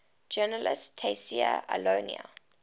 journalist tayseer allouni